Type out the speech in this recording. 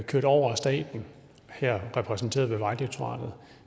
kørt over af staten her repræsenteret ved vejdirektoratet